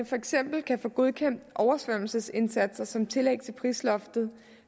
for eksempel kan få godkendt oversvømmelsesindsatser som tillæg til prisloftet